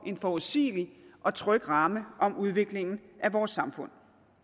en forudsigelig og tryg ramme om udviklingen af vores samfund